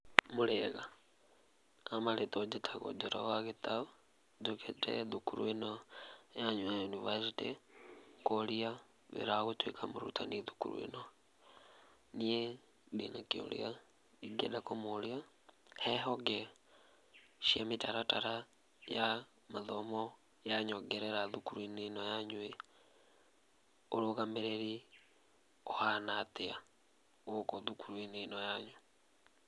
Mũrĩega, ha marĩtwa njĩtagũo Njoroge wa Gĩtaũ, njũkĩte thukuru ĩno yanyu ya yunibacĩtĩ, kũria wĩra wa gũtuĩka mũrutani thukuru ĩno. Niĩ ndĩnakĩũria ingĩenda kũmũria. He honge cia mĩtaratara ya mathomo ya nyongerera thukuru-inĩ ĩno yanyu-ĩ, ũrũgamĩrĩri ũhana atĩa gũkũ thukuru-inĩ ĩno yanyu.